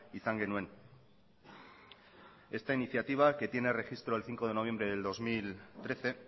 izan genuen esta iniciativa que tiene registro el cinco de noviembre del dos mil trece